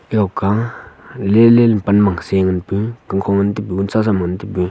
jok ga lele le pan mak se ngan pu kamkho nngan ta pu chala ngan tapu.